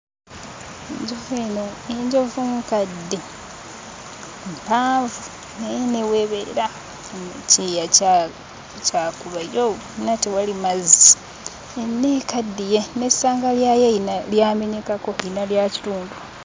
Enjovu eno, enjovu nkadde, mpanvu naye ne w'ebeera ekyeya kya.. kya kubbairo, wonna tewali mazzi, yonna ekaddiye, n'essanga lyayo eyina lyamenyekako eyina lya kitundu.